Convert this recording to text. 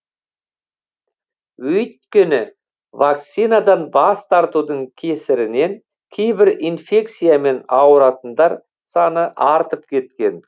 өйткені вакцинадан бас тартудың кесірінен кейбір инфекциямен ауыратындар саны артып кеткен